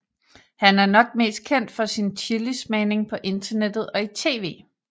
Han er nok mest kendt for sin chilismagning på internettet og i tv